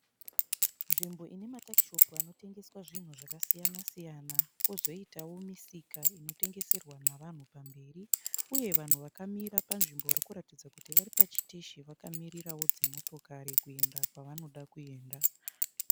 Nzvimbo inematakishopu anotengeswa zvinhu zvakasiyana siyana, kozoitawo misika inotengeserwa navanhu pamberi, uye vanhu vakamira panzvimbo varikuratidza kuti varipachiteshi vakamirirawo dzimotokari kuenda kwavanoda kuenda.